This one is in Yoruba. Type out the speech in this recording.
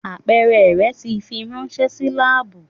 Apeere rẹ ti firanṣẹ si laabu.